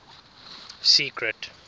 secret